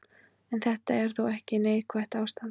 En þetta er þó ekki neikvætt ástand.